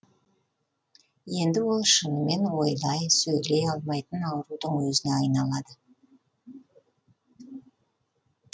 енді ол шынымен ойлай сөйлей алмайтын аурудың өзіне айналады